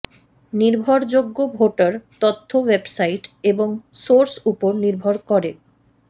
নির্ভরযোগ্য ভোটার তথ্য ওয়েবসাইট এবং সোর্স উপর নির্ভর করে